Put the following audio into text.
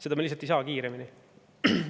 Seda me lihtsalt ei saa kiiremini.